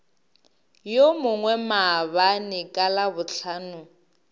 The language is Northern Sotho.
yo mongwe maabane ka labohlano